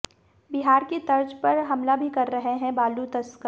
बिहार की तर्ज पर हमला भी कर रहे हैं बालू तस्कर